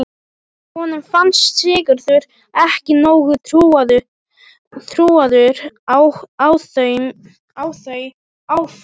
Honum fannst Sigurður ekki nógu trúaður á þau áform.